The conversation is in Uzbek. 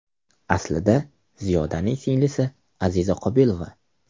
Aslida, Ziyodaning singlisi Aziza Qobilova.